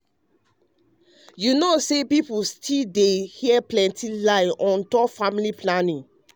you know say you know say pipo still dey hear plenty lie dem on top family planning.